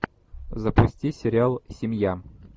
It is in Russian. запусти сериал семья